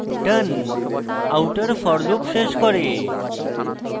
done outer for loop শেষ করে